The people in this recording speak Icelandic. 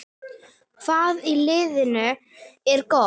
Hvað í liðinu er gott?